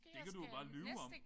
Det kan du jo bare lyve om